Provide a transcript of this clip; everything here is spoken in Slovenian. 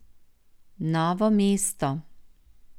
Novo mesto.